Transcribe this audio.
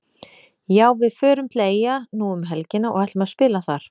Já við förum til Eyja nú um helgina og ætlum að spila þar.